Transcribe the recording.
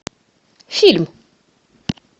фильм